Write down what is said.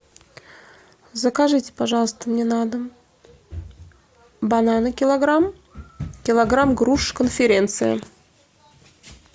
закажите пожалуйста мне на дом бананы килограмм килограмм груш конференция